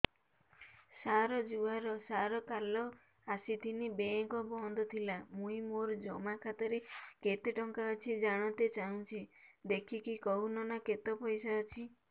ସାର ଜୁହାର ସାର କାଲ ଆସିଥିନି ବେଙ୍କ ବନ୍ଦ ଥିଲା ମୁଇଁ ମୋର ଜମା ଖାତାରେ କେତେ ଟଙ୍କା ଅଛି ଜାଣତେ ଚାହୁଁଛେ ଦେଖିକି କହୁନ ନା କେତ ପଇସା ଅଛି